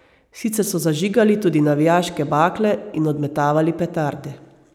Sicer so zažigali tudi navijaške bakle in odmetavali petarde.